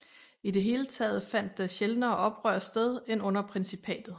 I det hele taget fandt der sjældnere oprør sted end under principatet